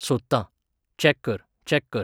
सोदतां. चॅक कर, चॅक कर.